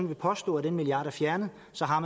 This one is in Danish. vil påstå at den milliard er fjernet så har